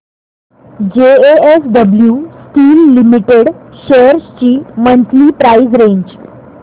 JSW Steel Limited shares ची monthly price range